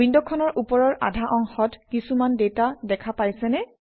উইণ্ডখনৰ ওপৰৰ আধা অংশত কিছুমান ডাটা দেখা পাইছেনে